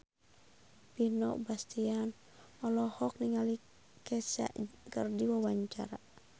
Vino Bastian olohok ningali Kesha keur diwawancara